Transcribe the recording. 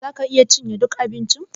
Za ka iya gama cinye ɗuk abincin?